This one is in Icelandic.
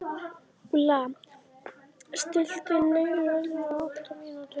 Úlla, stilltu niðurteljara á áttatíu mínútur.